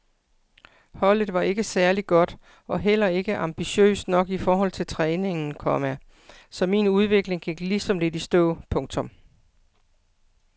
Holdet var ikke særlig godt og heller ikke ambitiøst nok i forhold til træningen, komma så min udvikling gik ligesom lidt i stå. punktum